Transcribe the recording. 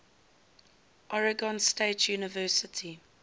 oregon state university